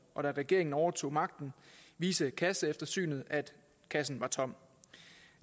og da regeringen overtog magten viste kasseeftersynet at kassen var tom